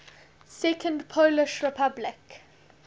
second polish republic